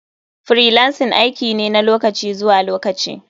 Freelancing aiki ne na lokaci zuwa lokaci.